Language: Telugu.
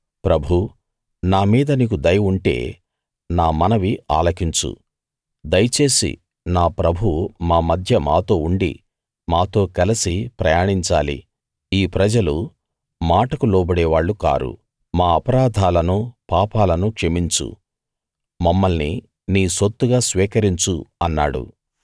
ప్రభూ నా మీద నీకు దయ ఉంటే నా మనవి ఆలకించు దయచేసి నా ప్రభువు మా మధ్య మాతో ఉండి మాతో కలసి ప్రయాణించాలి ఈ ప్రజలు మాటకు లోబడేవాళ్ళు కారు మా అపరాధాలను పాపాలను క్షమించు మమ్మల్ని నీ సొత్తుగా స్వీకరించు అన్నాడు